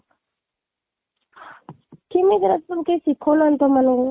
କେମିତି ଏ ଗୁଡା ତଆମକୁ କେହି ଶିଖାଉ ନାହାନ୍ତି ତମ ମାନଙ୍କୁ?